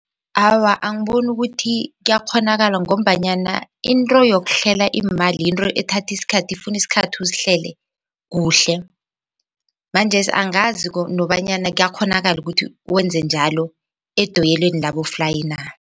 Awa, angiboni ukuthi kuyakghonakala ngombanyana into yokuhlela iimali yinto ethatha isikhathi ifuna isikhathi uzihlele kuhle manjesi angazi nobanyana kuyakghonakala ukuthi wenze njalo edoyelweni laboflayi na.